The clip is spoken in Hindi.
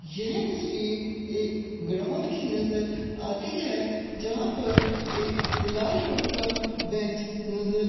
यह तस्वीर एक ग्राउंड की नज़र आती है जहां पर एक लाल रंग का बेंच नज़र --